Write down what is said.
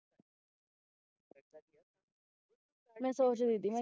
ਮੈਂ ਸੋਚ ਰਹੀ ਸੀ ਹੈ ਨਾ